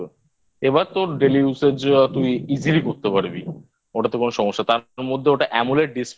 এবার তোর Daily Use র যা তুই Easily করতে পারবি ওটাতে কোনো সমস্যা তার মধ্যে ওটা Amoled Display